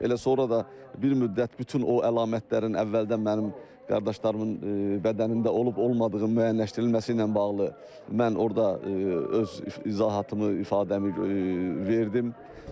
Elə sonra da bir müddət bütün o əlamətlərin əvvəldən mənim qardaşlarımın bədənlərində olub-olmadığını müəyyənləşdirilməsi ilə bağlı mən orda öz izahatımı, ifadəmi verdim.